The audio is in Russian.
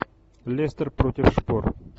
лестер против шпор